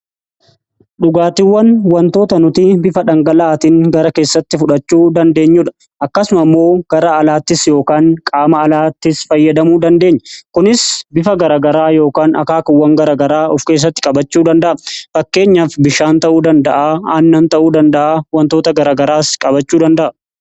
dhugaatiwwan wantoota nuti bifa dhangalaaatiin gara keessatti fudhachuu dandeenyuudha. Akkasuma immoo gara alaattis yookaan qaama alaattis fayyadamuu dandeenya kunis bifa garagaraa yookaan akaakuuwwan garagaraa of keessatti qabachuu danda'a fakkeenyaaf bishaan ta'uu danda'a yookiin aannan ta'uu danda'a.